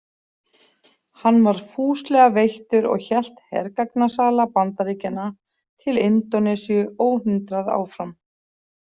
Hann var fúslega veittur og hélt hergagnasala Bandaríkjanna til Indónesíu óhindrað áfram.